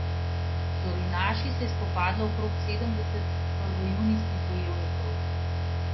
Z orjunaši se je spopadlo okrog sedemdeset prvojunijskih bojevnikov.